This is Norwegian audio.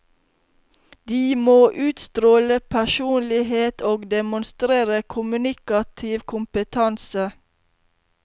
De må utstråle personlighet og demonstrere kommunikativ kompetanse.